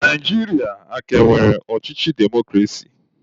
Naijiria a ka nwere ọchịchị demokrasi?